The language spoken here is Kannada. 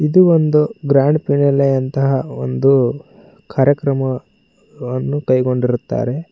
ಇದು ಒಂದು ಗ್ರಾಂಡ್ ಫಿನಾಲೆ ಅಂತಹ ಒಂದು ಕಾರ್ಯಕ್ರಮವನ್ನು ಕೈಗೊಂಡಿರುತ್ತಾರೆ.